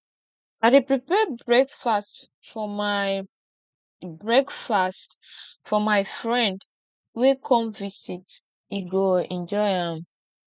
i dey prepare breakfast for my breakfast for my friend wey come visit e go enjoy am